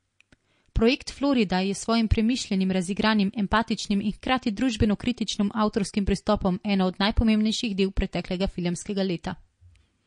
Projekt Florida je s svojim premišljenim, razigranim, empatičnim in hkrati družbenokritičnim avtorskim pristopom eno od najpomembnejših del preteklega filmskega leta.